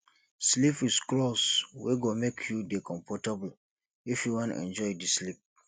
sleep with cloth wey go make you dey comfortable if you wan enjoy di sleep